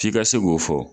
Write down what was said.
F'i ka se k'o fɔ